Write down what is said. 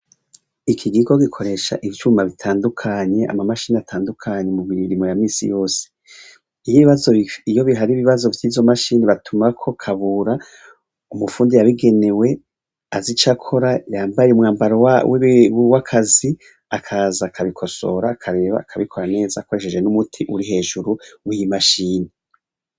Iki kigo gikoresha ivyuma bitandukanye, ama mashini atandukanye mu mirimo ya misi yose, iyo bihari ibibazo vy'izo mashini batumako Kabura umufundi yabigenewe azi ico akora yambaye umwambaro w'akazi, akaza akabikosora akaraba akabikora neza akoresheje n'umuti uri hejuru w'imashini.